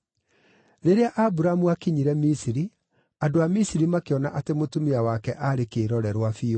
Rĩrĩa Aburamu aakinyire Misiri, andũ a Misiri makĩona atĩ mũtumia wake aarĩ kĩĩrorerwa biũ.